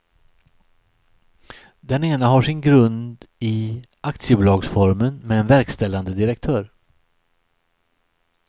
Den ena har sin grund i aktiebolagsformen med en verkställande direktör.